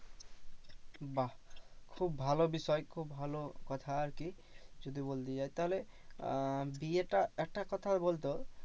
বাহ্ খুব ভালো বিষয় খুব ভালো কথা আরকি। যদি বলতে যাই তাহলে আহ বিয়েটা একটা কথা বলতো?